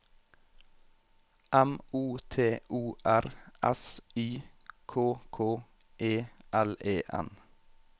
M O T O R S Y K K E L E N